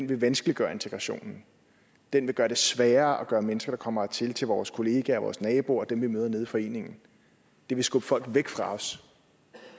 vil vanskeliggøre integrationen den vil gøre det sværere at gøre mennesker der kommer hertil til vores kollegaer og vores naboer og dem vi møder nede i foreningen det vil skubbe folk væk fra os